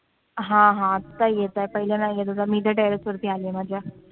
हा हा आता येत आहे, पहिले नाही येत होता, मी इथे terrace वर आले मग आता